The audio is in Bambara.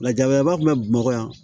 Lajabara fɛnɛ bɛ bamakɔ yan